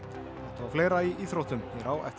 og fleira í íþróttum hér á eftir